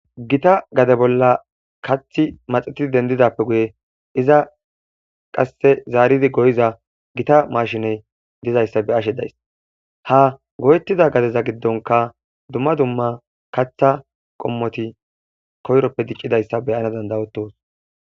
gita gade bolla kathi maxetidi dendidappe guye iza qasse zaaridi goyiza gita mashiney dizayssa be ashe days ha goyetida gadeza giddonka dumma dumma katha qommoti koyroppe dicqidayssa beyana dandawotos